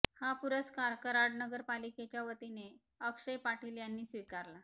हा पुरस्कार कराड नगर पालिकेच्या वतीने अक्षय पाटील यांनी स्वीकारला